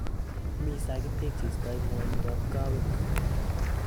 Mi sagityek cheistai ng'wanindo ab kaweek